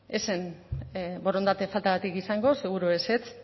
ez zen borondate faltagatik izango seguru ezetz